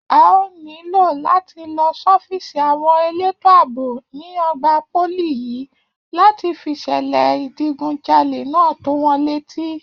A óò nílò láti lọ sọ́fíìsì àwọn elétò àbò ní ọgbà pólì yìí láti fìṣẹ̀lẹ̀ ìdigunjalè náà tó wọn létí